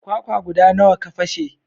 Kwakwa guda nawa ka fashe?